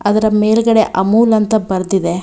ಅದ್ರ ಮೇಲ್ಗಡೆ ಅಮೂಲ್ ಅಂತ ಬರ್ದಿದೆ.